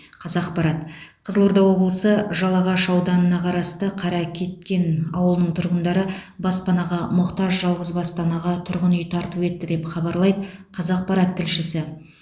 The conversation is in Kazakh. қазақпарат қызылорда облысы жалағаш ауданына қарасты қаракеткен ауылының тұрғындары баспанаға мұқтаж жалғызбасты анаға тұрғын үй тарту етті деп хабарлайды қазақпарат тілшісі